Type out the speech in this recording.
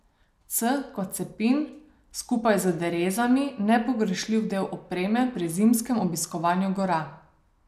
C kot cepin, skupaj z derezami nepogrešljiv del opreme pri zimskem obiskovanju gora.